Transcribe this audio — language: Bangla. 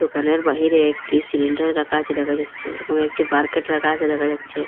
ঘরের বাহিরে একটি সিলিন্ডার রাখা আচে দেখা যাচ্চে এবং একটি বারকেট রাখা আচে দেখা যাচ্চে।